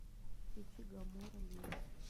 включи гамора лирос